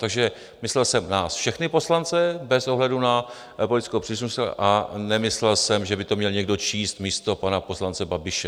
Takže myslel jsem nás všechny poslance bez ohledu na politickou příslušnost a nemyslel jsem, že by to měl někdo číst místo pana poslance Babiše.